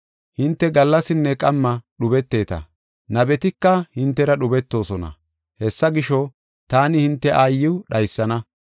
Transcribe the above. Hinte gallasinne qamma dhubeteeta; nabetika hintera dhubetoosona. Hessa gisho, taani hinte aayiw dhaysana.